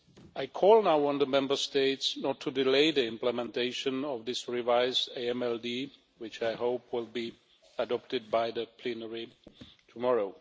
I call now on the Member States not to delay the implementation of this revised AMLD which I hope will be adopted by the plenary tomorrow.